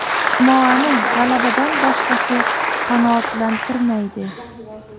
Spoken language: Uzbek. Jamoani g‘alabadan boshqasi qanoatlantirmaydi.